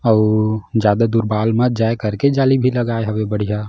अउ ज्यादा दूर बाल मत जाए करके जाली भी लगाए हवे बढ़ियाँ--